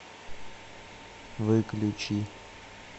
выключи